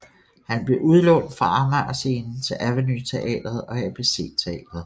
Han blev udlånt fra Amager Scenen til Aveny Teatret og ABC Teatret